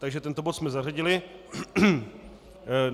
Takže tento bod jsme zařadili.